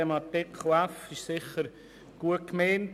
Buchstabe f ist sicher gut gemeint.